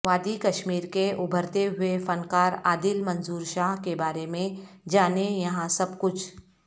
وادی کشمیر کے ابھرتے ہوئے فنکارعادل منظور شاہ کے بارے میں جانیں یہاں سب کچھ